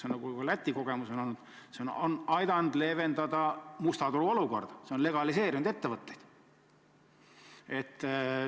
Nagu Läti kogemus on olnud, see on aidanud leevendada musta turu olukorda, see on legaliseerinud ettevõtteid.